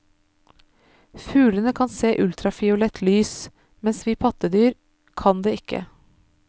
Fuglene kan se ultrafiolett lys, mens vi pattedyr kan det ikke.